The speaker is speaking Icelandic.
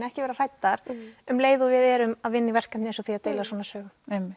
ekki vera hræddar um leið og við erum að vinna í verkefni eins og því að deila svona sögum